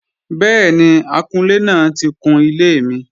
Bẹ́ẹ̀ni, akunlé náà ti kun ilé mi